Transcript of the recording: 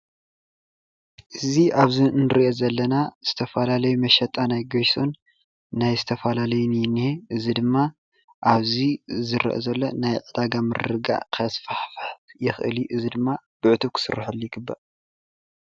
እዚ ኣብዙይ እንሪኦ ዘለና ዝተፈላለዩ መሸጣ ናይ ጌሾን ናይ ዝተፈላለዩን እዩ እኒሀ እዙይ ድማ ኣብዚ ዝርአ ዘሎ ናይ ዕዳጋ ምርግጋእ ከስፋሕፍሕ ይክእል እዮ እዚ ድማ ብዕቱብ ክስርሐሉ ይግባእ።